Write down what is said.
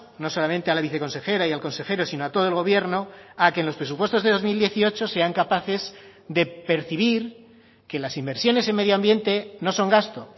no solamente a la viceconsejera y al consejero sino a todo el gobierno a que en los presupuestos de dos mil dieciocho sean capaces de percibir que las inversiones en medioambiente no son gasto